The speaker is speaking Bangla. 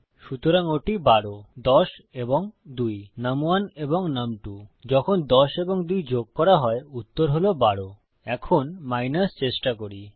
সুতরাং ওটি ১২ ১০ এবং ২ নুম1 এবং নুম2 যখন ১০ এবং ২ যোগ করা হয় উত্তর হল ১২ এখন মাইনাস বিয়োগ চেষ্টা করি